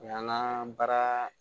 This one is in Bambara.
O y'an ka baara